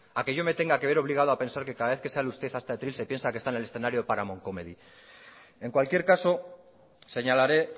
a que yo me tenga que ver obligado a pensar que cada vez que sale usted a este atril se piensa que está en el escenario de paramount comedy en cualquier caso señalaré